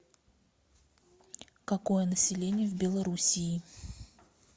какое население в белоруссии